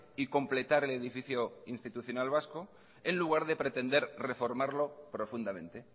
y completar el edificio institucional vasco en lugar de pretender reformarlo profundamente